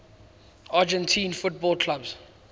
argentine football clubs